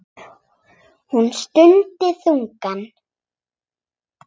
Hún stundi þungan.